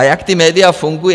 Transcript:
A jak ta média fungují?